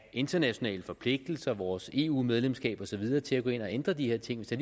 internationale forpligtelser vores eu medlemskab og så videre til at gå ind at ændre de her ting hvis det